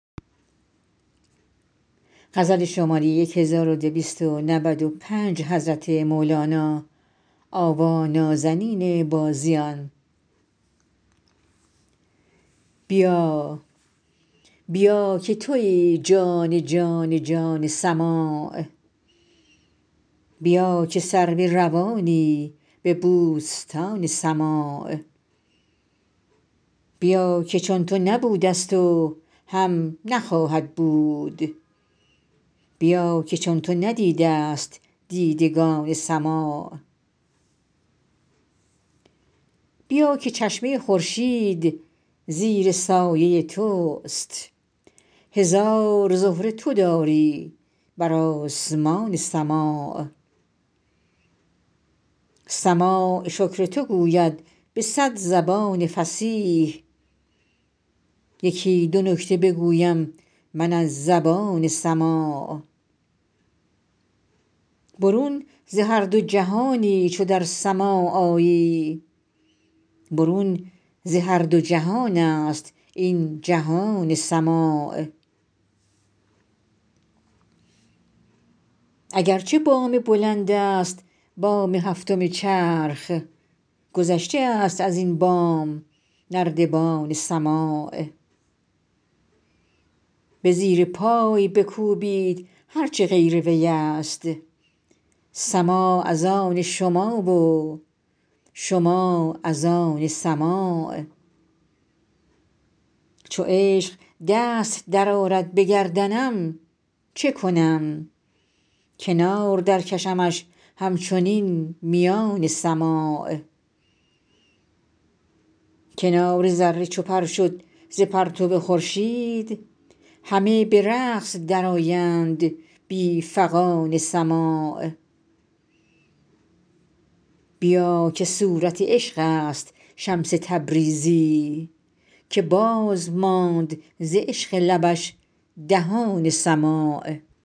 بیا بیا که توی جان جان جان سماع بیا که سرو روانی به بوستان سماع بیا که چون تو نبودست و هم نخواهد بود بیا که چون تو ندیدست دیدگان سماع بیا که چشمه خورشید زیر سایه تست هزار زهره تو داری بر آسمان سماع سماع شکر تو گوید به صد زبان فصیح یکی دو نکته بگویم من از زبان سماع برون ز هر دو جهانی چو در سماع آیی برون ز هر دو جهانست این جهان سماع اگر چه بام بلندست بام هفتم چرخ گذشته است از این بام نردبان سماع به زیر پای بکوبید هر چه غیر ویست سماع از آن شما و شما از آن سماع چو عشق دست درآرد به گردنم چه کنم کنار درکشمش همچنین میان سماع کنار ذره چو پر شد ز پرتو خورشید همه به رقص درآیند بی فغان سماع بیا که صورت عشقست شمس تبریزی که باز ماند ز عشق لبش دهان سماع